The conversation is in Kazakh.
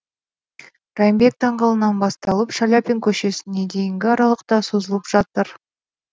райымбек даңғылынан басталып шаляпин көшесіне дейінгі аралықта созылып жатыр